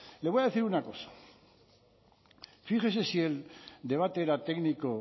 le voy a decir una cosa fíjese si el debate era técnico